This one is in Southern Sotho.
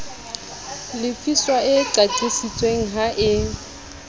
lefiswa e qaqisitsweng ha e